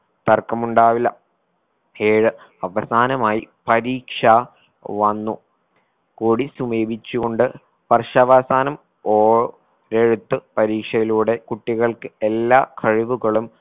തർക്കമുണ്ടാവില്ല ഏഴ് അവസാനമായി പരീക്ഷ വന്നു കൊടി ചുമേപിച്ചുകൊണ്ട് വർഷാവസാനം ഓ എഴുത്ത് പരീക്ഷയിലൂടെ കുട്ടികൾക്ക് എല്ലാ കഴിവുകളും